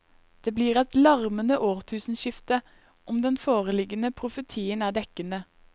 Det blir et larmende årtusenskifte, om den foreliggende profetien er dekkende.